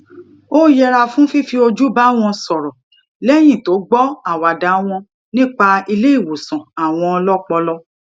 ó yẹra fún fífi ojú bá wọn sòrò léyìn tó gbó àwàdà wọn nípa ilé ìwòsàn àwọn ọpọlọ